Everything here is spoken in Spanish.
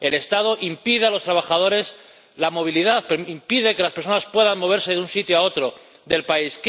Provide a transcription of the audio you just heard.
El Estado impide a los trabajadores la movilidad, impide que las personas puedan moverse de un sitio a otro del país.